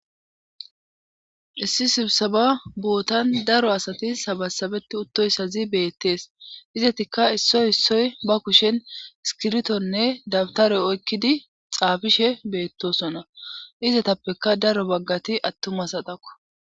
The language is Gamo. Issi sibsaba bootan daro asati sabasabeti uttoyssazi beettees izatikka issoy issoy ba kushen skirtonne dabtaroy oykkidi xaafishe beettosona izatappeka daro baggati attumas adaqo.